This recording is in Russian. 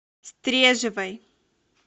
стрежевой